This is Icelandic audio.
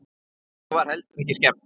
Henni var heldur ekki skemmt.